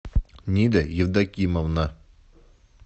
нида евдокимовна